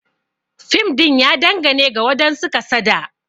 Fim din ya dangane ga wadansu kasada.